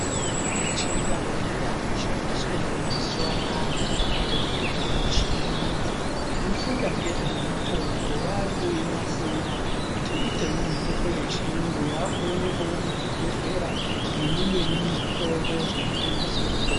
Mitombo yechindau yakushandiswe mumazuwanaya kuyite mitombo yechiyungu. Vanofunda ngezvemitombo vakuyinasira kuti ite mitombo yechiyungu yakuwonekawo muzvibhedhlera ne imweni irimuzvitoro zvinotengese mutombo.